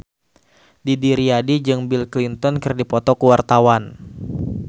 Didi Riyadi jeung Bill Clinton keur dipoto ku wartawan